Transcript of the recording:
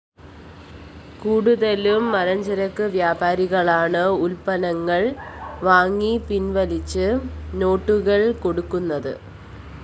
കൂടുതലും മലഞ്ചരക്ക് വ്യാപാരികളാണ് ഉല്‍പ്പന്നങ്ങള്‍ വാങ്ങി പിന്‍വലിച്ച നോട്ടുകള്‍ കൊടുക്കുന്നത്